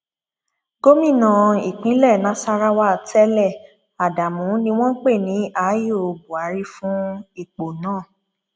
gomina ìpínlẹ nasarawa tẹlẹ adamu ni wọn pè ní ààyò buhari fún ipò náà